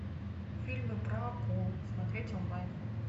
фильмы про акул смотреть онлайн